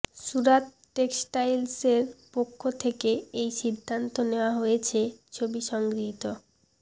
সুরাত টেক্সটাইলসের পক্ষ থেকে এই সিদ্ধান্ত নেওয়া হয়েছে ছবি সংগৃহীত